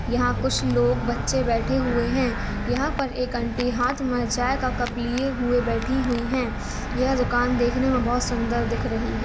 यंहा कुछ लोग बच्चे बैठे हुए है। यंहा पर एक आंटी हाँथ मे ह चाय का कप लिए हुई बैठी हुई है। यह दुकान देखने मे बहुत सुंदर लग रही है।